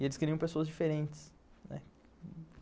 E eles queriam pessoas diferentes, né.